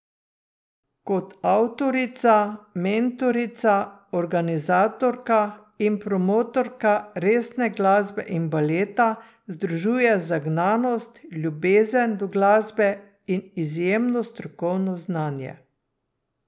Kot avtorica, mentorica, organizatorka in promotorka resne glasbe in baleta združuje zagnanost, ljubezen do glasbe in izjemno strokovno znanje.